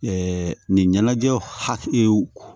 nin ɲɛnajɛw hakil